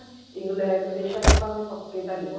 England ਬੇਸ਼ੱਕ ਪੱਕੇ ਤਾਂ ਨੀ ਹੋ